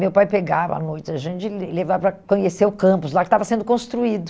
Meu pai pegava à noite a gente e levava para conhecer o campus lá que estava sendo construído.